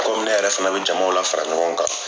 Komi ne yɛrɛ fɛnɛ bi jamaw la fara ɲɔgɔn kan